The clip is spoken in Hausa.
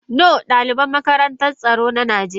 No dalibin makarantar tsaron nigeriya ne.